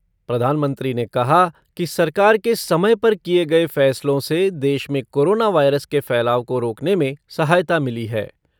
प्रधानमंत्री ने कहा कि सरकार के समय पर किए फ़ैसलों से देश में कोरोना वायरस के फैलाव को रोकने में सहायता मिली है।